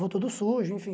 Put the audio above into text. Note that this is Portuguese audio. Vou todo sujo, enfim.